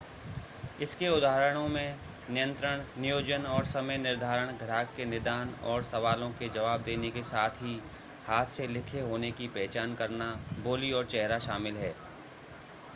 इसके उदाहरणों में नियंत्रण नियोजन और समय निर्धारण ग्राहक के निदान और सवालों के जवाब देने के साथ ही हाथ से लिखे होने की पहचान करना बोली और चेहरा शामिल है